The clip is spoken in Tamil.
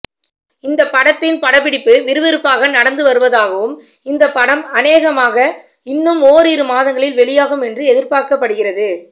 இந்த படத்தின் படப்பிடிப்பு விறுவிறுப்பு நடந்து வருவதாகவும் இந்த படம் அனேகமாக இன்னும் ஓரிரு மாதங்களில் வெளியாகும் என்று எதிர்பார்க்கப்படுகிறது